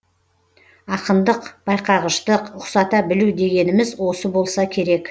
ақындық байқағыштық ұқсата білу дегеніміз осы болса керек